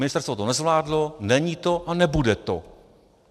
Ministerstvo to nezvládlo, není to a nebude to.